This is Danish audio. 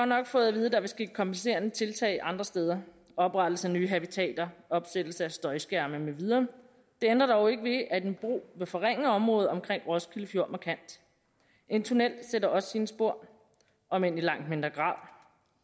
nok fået at vide at der vil ske kompenserende tiltag andre steder oprettelse af nye habitater opsættelse af støjskærme med videre det ændrer dog ikke ved at en bro vil forringe området omkring roskilde fjord markant en tunnel sætter også sine spor om end i langt mindre grad